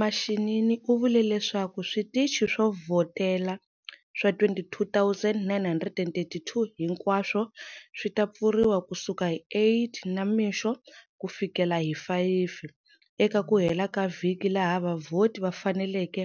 Mashinini u vule leswaku switichi swo vhotela swa 22 932 hinkwaswo swi ta pfuriwa kusuka hi 08h00 namixo kufikela 17h00 eka ku hela ka vhiki laha vavhoti va faneleke